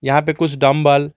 यहां पर कुछ डम्बल --